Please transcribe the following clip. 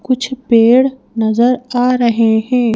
कुछ पेड़ नजर आ रहे हैं।